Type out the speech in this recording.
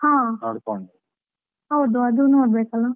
ಅದು ನೋಡ್ಬೇಕಲ್ಲ.